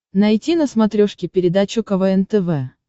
найти на смотрешке передачу квн тв